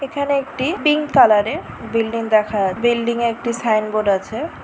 এখানে একটি pink colour এর বিল্ডিং দেখা বিল্ডিং একটি সাইনবোর্ড আছে।